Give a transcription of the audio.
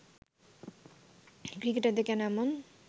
ক্রিকেটারদের কেন এমন